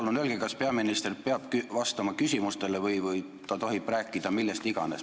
Palun öelge, kas peaminister peab vastama küsimustele või ta tohib rääkida millest iganes.